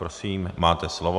Prosím, máte slovo.